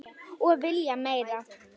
Og vilja meira.